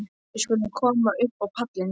Við skulum koma upp á pallinn.